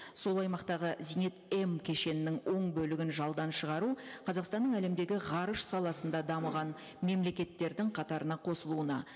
сол аймақтағы зенит м кешенінің оң бөлігін жалдан шығару қазақстанның әлемдегі ғарыш саласында дамыған мемлекеттердің қатарына қосылуына